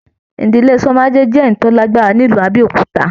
Ìdílé Shomade jẹ èyí tó lágbára nílu Abẹ́òkúta.